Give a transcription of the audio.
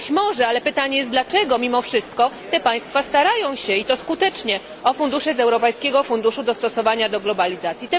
Być może, ale pytanie jest dlaczego mimo wszystko te państwa starają się i to skutecznie o fundusze z Europejskiego Funduszu Dostosowania do Globalizacji.